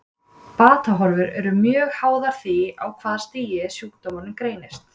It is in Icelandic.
Batahorfur eru mjög háðar því á hvaða stigi sjúkdómurinn greinist.